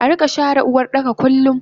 Arika share Uwardaka kullum